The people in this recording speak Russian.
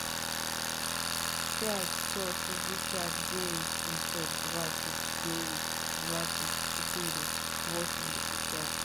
пять сто шестьдесят девять семьсот двадцать девять двадцать четыре восемьдесят пять